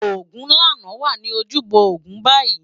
Ogunlana wá ni ójúbò ógún bàyi